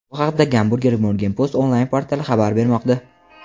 Bu haqda "Hamburger Morgenpost" onlayn portali xabar bermoqda.